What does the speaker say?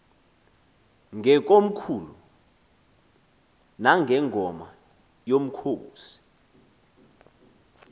ngekomkhulu nangengoma yomkhosi